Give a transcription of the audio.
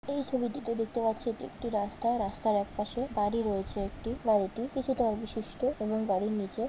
এই ছবিটিতে দেখতে পাচ্ছি এটি একটি রাস্তা। রাস্তার একপাশে বাড়ি রয়েছে একটি বাড়িটি কিছুটা বিশিষ্ট এবং বাড়ির নিচে--